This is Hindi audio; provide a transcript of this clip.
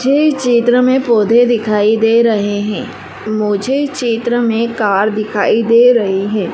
मुझे इस चित्र में पोधै दिखाई दे रहे हैं। मुझे इस चित्र में कार दिखाई दे रही है।